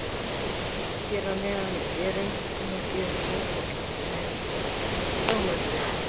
Hér að neðan er einkunnagjöf Fótbolta.net frá Möltu.